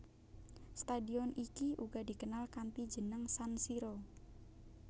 Stadion iki uga dikenal kanthi jeneng San Siro